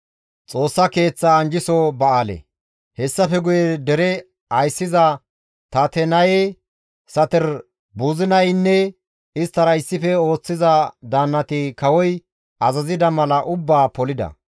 Hessafe guye dere ayssiza Tatenaye, Saterboozinayeynne isttara issife ooththiza daannati kawoy azazida mala ubbaa polida.